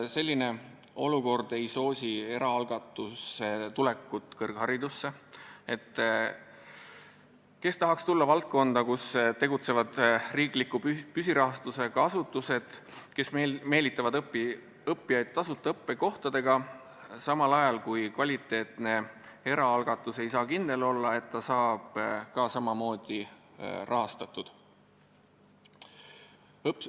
Selline olukord ei soosi eraalgatuse tulekut kõrgharidusse – kes tahaks tulla valdkonda, kus tegutsevad riikliku püsirahastusega asutused, kes meelitavad õppijaid tasuta õppekohtadega, samal ajal kui kvaliteetne erakõrgkool ei saa kindel olla, et ta saab ka samamoodi rahastatud.